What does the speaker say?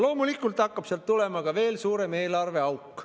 Loomulikult hakkab sealt tulema veel suurem eelarveauk.